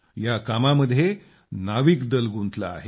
या कामामध्ये नाविकदल गुंतलं आहे